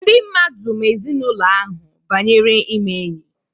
Ndị mmadụ ma ezinaụlọ ahụ banyere ime enyi.